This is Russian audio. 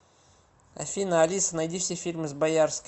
афина алиса найди все фильмы с боярским